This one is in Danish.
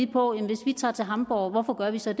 på hvis vi tager til hamborg hvorfor vi så